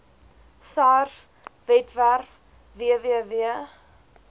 sars webwerf www